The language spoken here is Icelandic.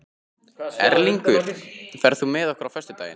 Erlingur, ferð þú með okkur á föstudaginn?